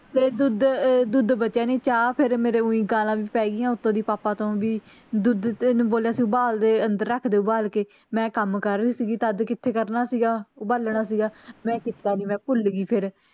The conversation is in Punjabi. ਫੇਰ ਦੁੱਧ ਅਹ ਦੁੱਧ ਬਚਿਆ ਨਹੀ, ਚਾਹ ਫੇਰ ਮੇਰੇ ਉਂ ਗਾਲਾਂ ਵੀ ਪੈ ਗਈਆਂ ਉੱਤੇ ਦੀ ਪਾਪਾ ਤੋਂ ਵੀ, ਦੁੱਧ ਤੈਂਨੂੰ ਬੋਲਿਆ ਸੀ ਉਬਾਲ ਦੇ ਅੰਦਰ ਰੱਖਦੇ ਉਬਾਲ ਕੇ, ਮੈਂ ਕੰਮ ਕਰ ਰਹੀ ਸੀਗੀ, ਤਧ ਕਿਥੇ ਕਰਨਾ ਸੀਗਾ ਉਬਾਲਣਾ ਸੀਗਾ, ਮੈਂ ਕਿੱਤਾ ਨੀ, ਮੈਂ ਭੁੱਲ ਗਈ ਫੇਰ